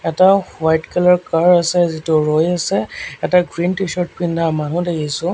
এটা white colour car আছে যিটো ৰৈ আছে এটা গ্ৰীণ টি-চাৰ্ট পিন্ধা মানুহ দেখিছোঁ।